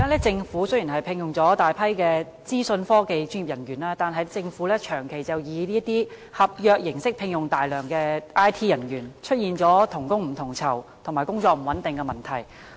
政府現在雖然聘用了大批資訊科技專業人員，但長期以合約形式聘用，出現同工不同酬及工作不穩定的問題。